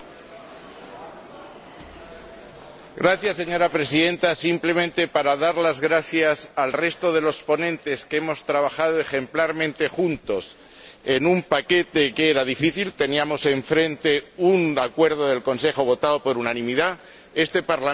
Señora Presidenta, simplemente quería dar las gracias al resto de los ponentes, pues hemos trabajado ejemplarmente juntos en un paquete que era difícil teníamos enfrente un acuerdo del Consejo aprobado por unanimidad. Este Parlamento tiene ahora un mandato también aprobado prácticamente